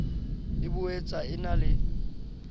e boetsa e na le